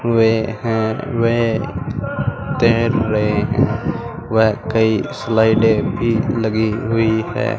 वे हैं वे तैर रहे हैं वे कई स्लाइडें भी लगी हुई है।